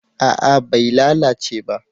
A'a bai lalace ba